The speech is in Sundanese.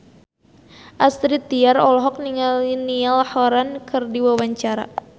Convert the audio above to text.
Astrid Tiar olohok ningali Niall Horran keur diwawancara